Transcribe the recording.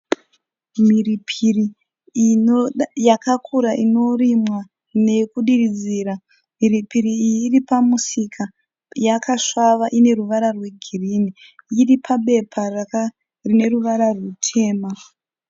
Mhiripiri yakakura inorimwa nekudiridzira, mhiripiri iyi iripamusika yakasvava iripabepa rineruvara rwutema.